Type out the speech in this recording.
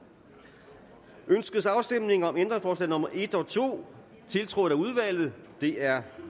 ønskes afstemning om ændringsforslag nummer en og to tiltrådt af udvalget de er